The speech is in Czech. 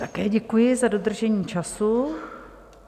Také děkuji za dodržení času.